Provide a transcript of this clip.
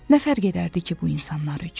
Nə fərq edərdi ki bu insanlar üçün?